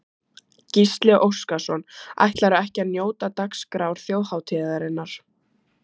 Gísli Óskarsson: Ætlarðu ekki að njóta dagskrár þjóðhátíðarinnar?